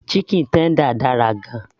chicken tender dára gan -an